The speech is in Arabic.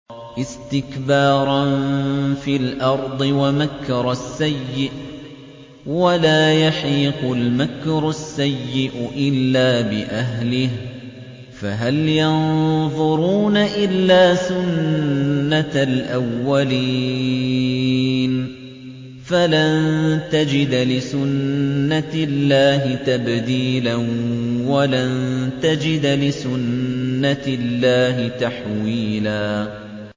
اسْتِكْبَارًا فِي الْأَرْضِ وَمَكْرَ السَّيِّئِ ۚ وَلَا يَحِيقُ الْمَكْرُ السَّيِّئُ إِلَّا بِأَهْلِهِ ۚ فَهَلْ يَنظُرُونَ إِلَّا سُنَّتَ الْأَوَّلِينَ ۚ فَلَن تَجِدَ لِسُنَّتِ اللَّهِ تَبْدِيلًا ۖ وَلَن تَجِدَ لِسُنَّتِ اللَّهِ تَحْوِيلًا